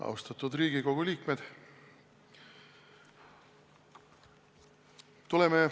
Austatud Riigikogu liikmed!